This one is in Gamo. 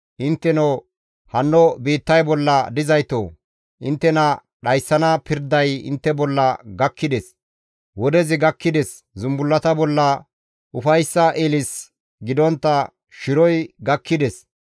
Intteno hanno biittay bolla dizaytoo! Inttena dhayssana pirday intte bolla gakkides; wodezi gakkides; zumbullata bolla ufayssa ilis gidontta shiroy gakkides.